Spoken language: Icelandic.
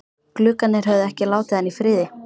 Gluggarnir höfðu ekki látið hann í friði.